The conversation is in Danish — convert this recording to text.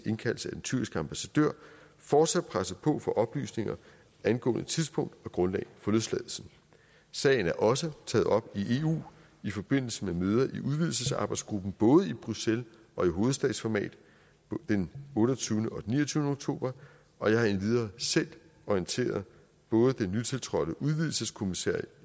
indkaldelse af den tyrkiske ambassadør fortsat presset på for oplysninger angående tidspunkt og grundlag for løsladelsen sagen er også taget op i eu i forbindelse med møder i udvidelsesarbejdsgruppen både i bruxelles og i hovedstadsformat den otteogtyvende og den ni og tyve oktober og jeg har endvidere selv orienteret både den nytiltrådte udvidelseskommissær